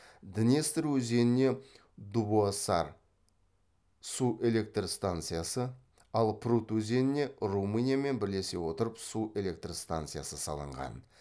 днестр өзеніне дубоссар су электр станциясы ал прут өзеніне румыниямен бірлесе отырып су электр станциясы салынған